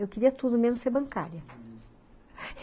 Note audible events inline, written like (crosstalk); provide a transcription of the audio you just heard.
Eu queria tudo, menos ser bancária, (unintelligible)